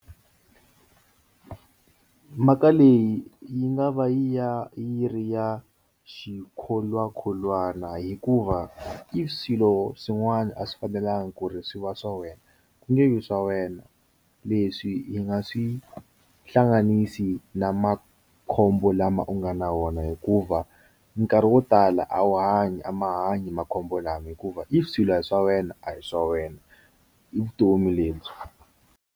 Mhaka leyi yi nga va ya yi ri ya xikholwakholwana hikuva i swilo swin'wana a swi fanelanga ku ri swi va swa wena ku nge yo swa wena leswi hi nga swi hlanganisi na makhombo lama u nga na wona hikuva nkarhi wo tala a wu hanyi a ma hanyi makhombo lama hikuva i swilo swa wena a hi swa wena i vutomi lebyi.